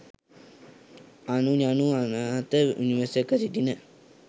අනු යනු අනාත නිවසක සිටින